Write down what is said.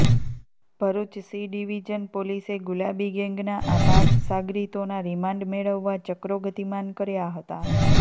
Bharuch C division પોલીસે ગુલાબી ગેંગના આ પાંચ સાગરીતોના રીમાન્ડ મેળવવા ચક્રો ગતિમાન કર્યા હતા